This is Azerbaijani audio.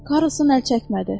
Karusun əl çəkmədi.